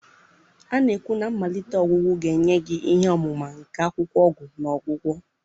A na-ekwu na mmalite ọgwụgwọ ga-enye gị ihe ọmụma nke akwụkwọ ọgwụ na ọgwụgwọ.